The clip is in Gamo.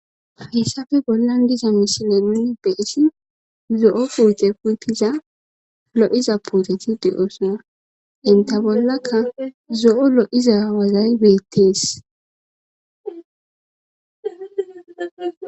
hessafe bollan diza mishineni nuni be'ishin zo'o pute putiza lo'za puteti de'oosna entta bollakka zo'o lo'iza wazay beettees